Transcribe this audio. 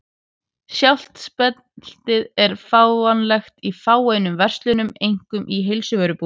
Sjálft speltið er fáanlegt í fáeinum verslunum, einkum í heilsuvörubúðum.